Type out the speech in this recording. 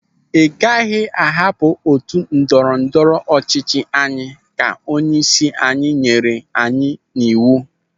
"Ị gaghị ahapụkwa otu ndọrọ ndọrọ ọchịchị anyị" ka onyeisi nyere anyị n'iwu.